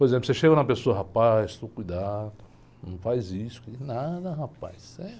Por exemplo, você chega numa pessoa, rapaz, tu cuidado, não faz isso, e nada, rapaz. Eh...